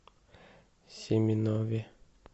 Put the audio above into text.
семенове